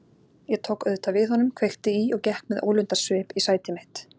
Ég tók auðvitað við honum, kveikti í og gekk með ólundarsvip í sæti mitt.